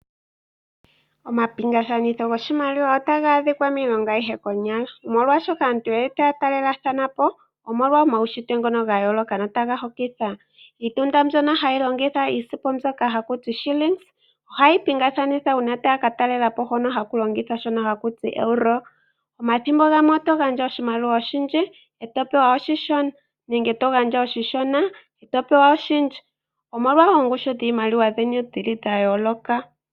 Omapingakanitho goshimaliwa otaga adhika miilongo aihe konyala. Molwaashoka aantu otaya talelathanapo omolwa omaushitwe ngono gayooloka notaga hokitha. Iitunda mbyono hayi longitha iisimpo mbyoka haku tiwa Shillings ohayi pingakanithwa uuna taya ka talelapo hono haku longithwa Euro. Omathimbo gamwe oto gandja oshimaliwa oshindji eto pewa oshishona nenge togandja oshishona eto pewa oshindji. Omolwa ongushu dhiimaliwa dhino dhayooloka.